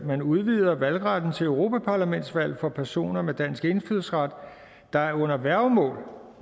man udvider valgretten til europaparlamentsvalget for personer med dansk indfødsret der er under værgemål